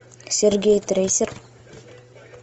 сергей трейсер